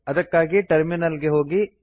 ಅದಕ್ಕಾಗಿ ಟರ್ಮಿನಲ್ ಗೆ ಹೋಗಿ